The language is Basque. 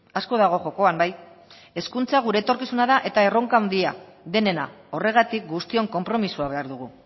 asko dago jokoan bai hezkuntza gure etorkizuna da erronka handia denena horregatik guztion konpromisoa behar dugu